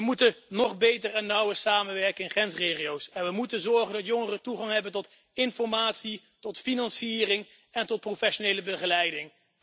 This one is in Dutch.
We moeten nog beter en nauwer samenwerken in grensregio's en we moeten ervoor zorgen dat jongeren toegang hebben tot informatie, financiering en professionele begeleiding.